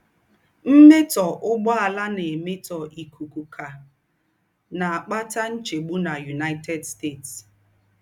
Mmẹ́tọ́ úgbọ̀àlà ná-èmétọ́ íkúkú kà ná-àkpátà ńchègbù na United States.